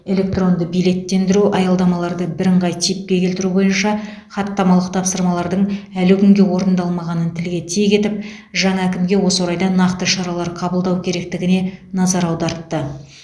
электронды билеттендіру аялдамаларды бірыңғай типке келтіру бойынша хаттамалық тапсырмалардың әлі күнге орындалмағанын тілге тиек етіп жаңа әкімге осы орайда нақты шаралар қабылдау керектігіне назар аудартты